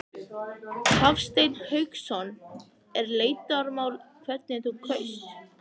Hafsteinn Hauksson: Er leyndarmál hvernig þú kaust?